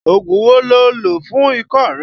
Ògùn wo lo lò fún ikọ́ rẹ?